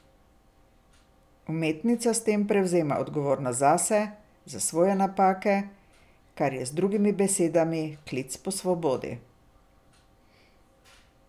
Umetnica s tem prevzema odgovornost zase, za svoje napake, kar je z drugimi besedami klic po svobodi.